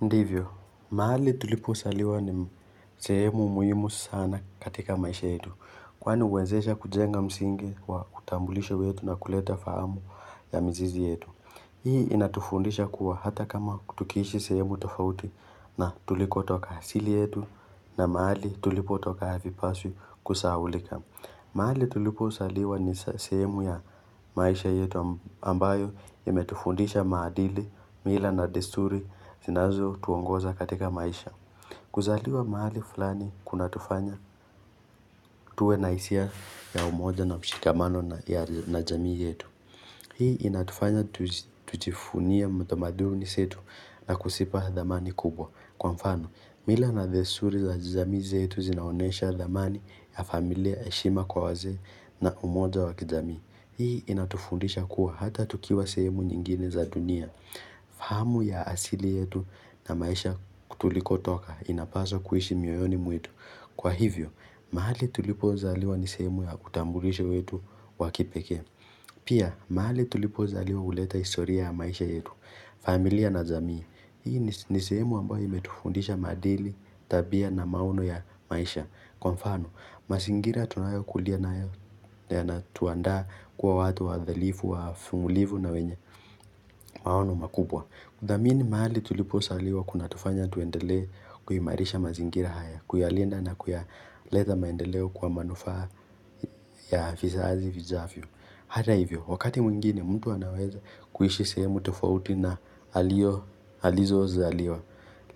Ndivyo, mahali tulipozaliwa ni sehemu muhimu sana katika maisha yetu. Kwani huwezesha kujenga msingi wa utambulisho wetu na kuleta fahamu ya mizizi yetu. Hii inatufundisha kuwa hata kama tukiishi sehemu tofauti na tulikotoka asili yetu na mahali tulipotoka havipaswi kusahaulika. Mahali tulipozaliwa ni sehemu ya maisha yetu ambayo imetufundisha maadili, mila na desturi zinazotuongoza katika maisha. Kuzaliwa mahali fulani kunatufanya, tuwe na hisia ya umoja na mshikamano na jamii yetu. Hii inatufanya tujivuni utamaduni wetu na kuzipa thamani kubwa. Kwa mfano, mila na desturi za jamii zetu zinaonyesha thamani ya familia heshima kwa wazee na umoja wa kijamii. Hii inatufundisha kuwa hata tukiwa sehemu nyingine za dunia. Fahamu ya asili yetu na maisha tulikotoka inapaswa kuiishi mioyoni mwetu. Kwa hivyo, mahali tulipozaliwa ni sehemu ya utambulisho wetu wa kipekee. Pia, mahali tulipozaliwa huleta historia ya maisha yetu, familia na jamii. Hii ni sehemu ambayo imetufundisha maadili, tabia na maono ya maisha. Kwa mfano, mazingira tunayo kulia nayo yanatuanda kuwa watu wadilifu wa vumulivu na wenye maono makubwa. Kuthamini mahali tulipozaliwa kunatufanya tuendele kuimarisha mazingira haya, kuyalinda na kuleta maendeleo kwa manufaa ya vizazi vijavyo. Hata hivyo, wakati mwingine mtu anaweza kuishi sehemu tofauti na alipozaliwa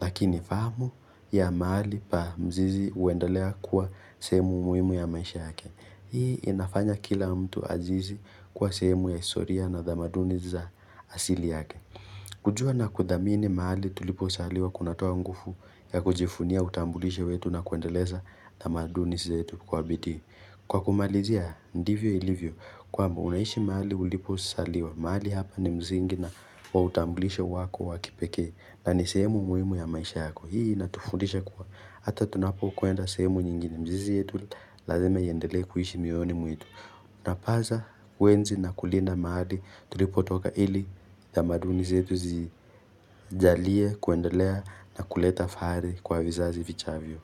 Lakini fahamu ya mahali pa mzizi huendelea kwa sehemu muhimu ya maisha yake Hii inafanya kila mtu azidi kuwa sehemu ya historia na tamaduni za asili yake kujua na kuthamini mahali tulipozaliwa kunatoa nguvu ya kujivunia utambulisho wetu na kuendeleza tamaduni zetu kwa bidii Kwa kumalizia, ndivyo ilivyo, kwamba unaishi mahali ulipozaliwa, mahali hapa ni msingi wa utamblisho wako wakipekee, na ni sehemu muhimu ya maisha yako, hii inatufudisha kuwa, hata tunapokwenda sehemu nyingine, mizizi yetu lazima iendelee kuiishi miyoyoni mwetu. Unapaswa, kuenzi na kulinda mahali, tulipotoka ili tamaduni zetu zijalie kuendelea na kuleta fahari kwa vizazi vijavyo.